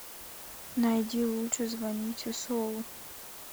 найди лучше звоните солу